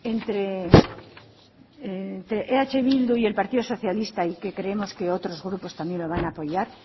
entre eh bildu y el partido socialista y que creemos que otros grupos también lo van a apoyar